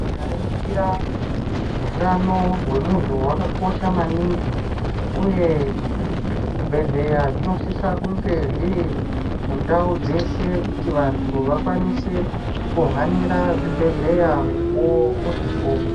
Ukaringira utano hwemuntu hwakakosha maningi uye zvibhedhleya zvonosise kunge zviri mundau dzeshe kuti vantu vakwanise kuhanira zvibhedhleya mukuwo uripo.